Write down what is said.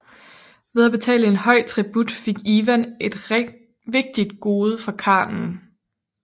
Ved at betale en høj tribut fik Ivan et vigtigt gode fra khanen